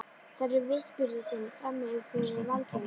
Þær eru vitnisburður þinn frammi fyrir valdinu.